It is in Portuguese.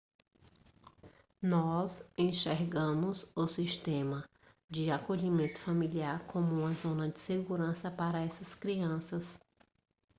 nós enxergamos o sistema de acolhimento familiar como uma zona de segurança para essas crianças